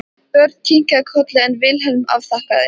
Björn kinkaði kolli en Vilhelm afþakkaði.